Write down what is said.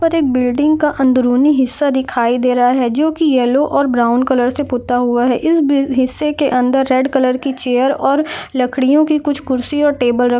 यहां पर एक बिल्डिंग का अंदरुनी हिस्सा दिखाई दे रहा है जो की येलो और ब्राउन कलर से पुता हुआ है इस बिल हिस्से के अंदर रेड कलर की चेयर और लकड़ियों की कुछ कुर्सी और टेबल --